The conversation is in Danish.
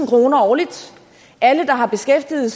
kroner årligt alle der har beskæftiget